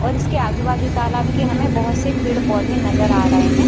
और इसके आजु-बाजु तालाब के हमें बहोत से पेड़-पौधे नजर आ रहे हैं।